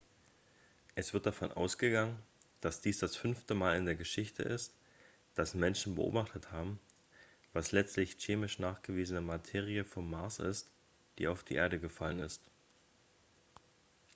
es wird davon ausgegangen dass dies das fünfte mal in der geschichte ist dass menschen beobachtet haben was letztlich chemisch nachgewiesene materie vom mars ist die auf die erde gefallen ist